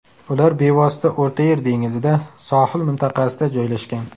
Ular bevosita O‘rta Yer dengizida, Sohil mintaqasida joylashgan.